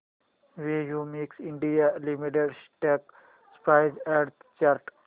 Cummins India limited stock price and chart